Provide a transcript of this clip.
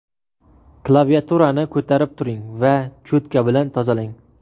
Klaviaturani ko‘tarib turing va cho‘tka bilan tozalang.